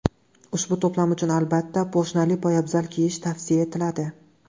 Ushbu to‘plam uchun, albatta, poshnali poyabzal kiyish tavsiya etiladi.